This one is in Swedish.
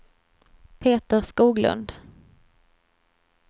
Peter Skoglund